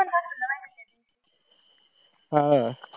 अह